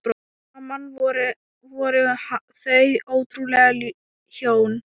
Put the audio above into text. Saman voru þau ótrúleg hjón.